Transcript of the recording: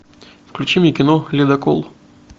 включи мне кино ледокол